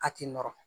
A tɛ nɔrɔ